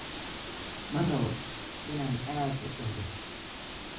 Ma rabo inaan aad u seexdo.